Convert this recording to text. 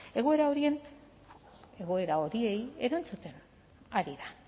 egoera horiei erantzuten ari da